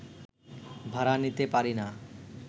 ভাড়া নিতে পারি না